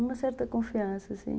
Uma certa confiança, assim.